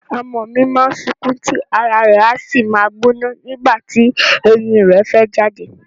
Ọmọ mi má ń sunkún tí ara rẹ̀ a sì máa gbóná nígbà tí eyín rẹ̀ fẹ́ jáde